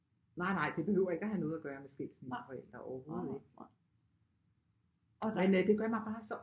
Nej nej det behøver ikke have noget at gøre med skilsmisseforældre overhovedet ikke men øh det gør mig bare så